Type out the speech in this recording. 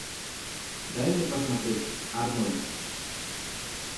дай мне посмотреть арнольд